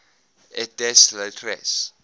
et des lettres